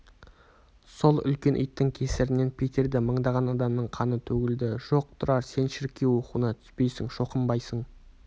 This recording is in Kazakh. сол үлкен иттің кесірінен питерде мыңдаған адамның қаны төгілді жоқ тұрар сен шіркеу оқуына түспейсің шоқынбайсың